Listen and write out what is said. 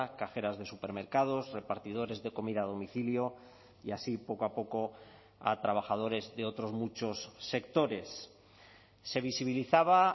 cajeras de supermercados repartidores de comida a domicilio y así poco a poco a trabajadores de otros muchos sectores se visibilizaba